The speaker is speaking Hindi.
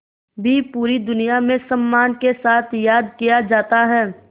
भी पूरी दुनिया में सम्मान के साथ याद किया जाता है